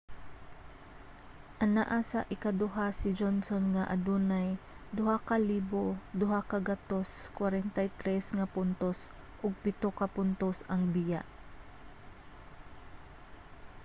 anaa sa ikaduha si johnson nga adunay 2,243 nga puntos ug pito ka puntos ang biya